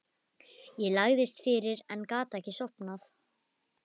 Ég lagðist fyrir en gat ekki sofnað.